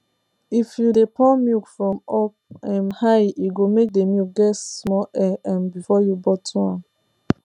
if you de pour milk from up um high e go make the milk get small air um before you bottle am